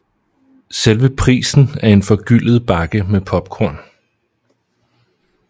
Selve prisen er en forgyldet bakke med popcorn